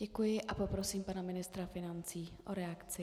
Děkuji a poprosím pana ministra financí o reakci.